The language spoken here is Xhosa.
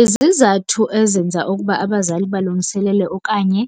Izizathu ezenza ukuba abazali balungiselele okanye